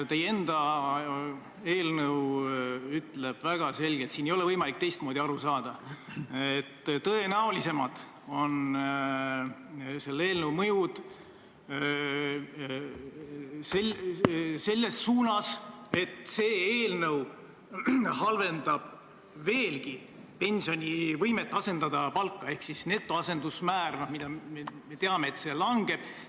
Teie enda eelnõu ütleb väga selgelt – siin ei ole võimalik teistmoodi aru saada –, et tõenäolisem on see, et eelnõu halvendab veelgi pensioni võimet asendada palka, ehk me teame, et netoasendusmäär langeb.